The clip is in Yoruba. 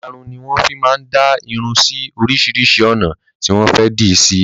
Ìlarun ni wọn fi máa ń dá irun sì oríṣiríṣi ọ̀nà tí wọn fẹ di sí.